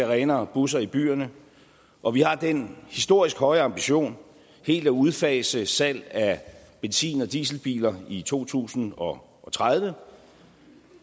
renere busser i byerne og vi har den historisk høje ambition helt at udfase salget af benzin og dieselbiler i to tusind og tredive